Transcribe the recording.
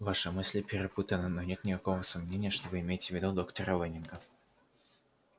ваши мысли перепутаны но нет никакого сомнения что вы имеете в виду доктора лэннинга